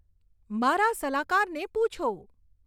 મારા સલાહકારને પૂછો